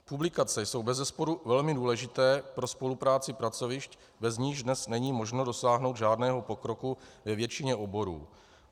Publikace jsou bezesporu velmi důležité pro spolupráci pracovišť, bez nichž dnes není možno dosáhnout žádného pokroku ve většině oborů.